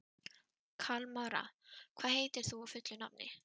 Kalmara, hvað heitir þú fullu nafni?